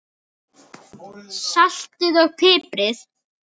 Saltið og piprið.